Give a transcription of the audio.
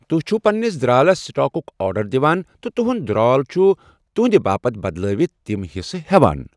تُہۍ چھِو پنِنِس درٛالَس سٹاکُک آرڈر دِوان تہٕ تُہنٛد درٛال چھُ تُہنٛدِ باپتھ بدلٲوِتھ تِم حصہٕ ہٮ۪وان۔